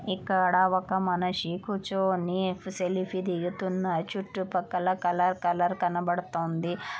ఇక్కడ ఒక మనిషి కూర్చొని సెల్ఫీ దిగుతున్నాడు. చుట్టుపక్కల కలర్ కలర్ కనబడుతుంది --